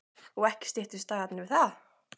Og ekki styttust dagarnir við það.